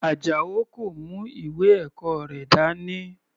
Ajao kò mú ìwé ẹ̀kọ́ rẹ̀ dání.